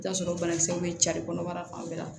I bi t'a sɔrɔ banakisɛw bɛ jali kɔnɔbara fan bɛɛ la